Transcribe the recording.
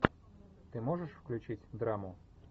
ты можешь включить драму